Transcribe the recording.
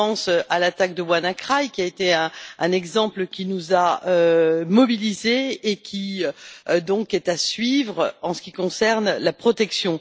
Je pense à l'attaque de WannaCry qui a été un exemple qui nous a mobilisés et qui est donc à suivre en ce qui concerne la protection.